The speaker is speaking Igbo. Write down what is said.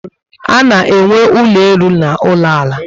Ana enwe ụlọ elu na ụlọ ala